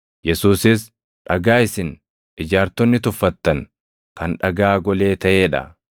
Yesuusis, “ ‘Dhagaa isin ijaartonni tuffattan kan dhagaa golee taʼee dha.’ + 4:11 \+xt Far 118:22\+xt*